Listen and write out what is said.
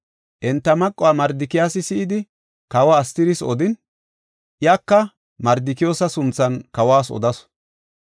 Enta maquwa Mardikiyoosi si7idi, kawe Astiris odin, iyaka Mardikiyoosa sunthan kawas odasu.